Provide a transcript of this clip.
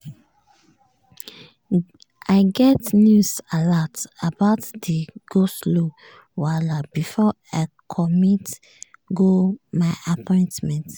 i get news alat about di go-slow wahala before i commit go my appointment.